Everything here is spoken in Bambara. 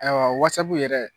Ayiwa Whatsapp yɛrɛ